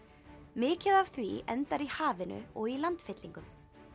mikið af því endar í hafinu og í landfyllingum